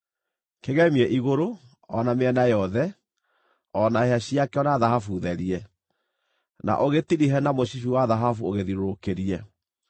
Kĩgemie igũrũ, o na mĩena yothe, o na hĩa ciakĩo, na thahabu therie, na ũgĩtirihe na mũcibi wa thahabu ũgĩthiũrũrũkĩrie.